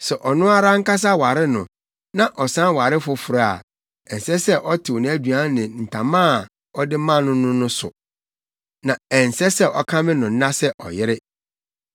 Sɛ ɔno ara ankasa ware no na ɔsan ware foforo a, ɛnsɛ sɛ ɔtew nʼaduan ne ntama a ɔde ma no no so; na ɛnsɛ sɛ ɔkame no nna sɛ ɔyere.